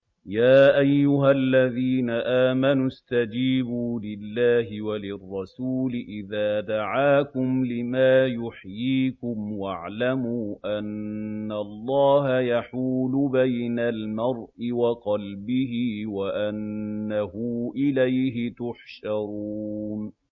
يَا أَيُّهَا الَّذِينَ آمَنُوا اسْتَجِيبُوا لِلَّهِ وَلِلرَّسُولِ إِذَا دَعَاكُمْ لِمَا يُحْيِيكُمْ ۖ وَاعْلَمُوا أَنَّ اللَّهَ يَحُولُ بَيْنَ الْمَرْءِ وَقَلْبِهِ وَأَنَّهُ إِلَيْهِ تُحْشَرُونَ